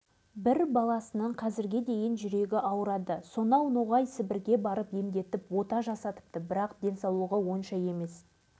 жылы сол майқайың жанында тағы бір қатты үлкен сынақ өтті әлдене жарқ ете түсті жанқұлов есен